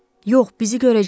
Yox, bizi görəcək.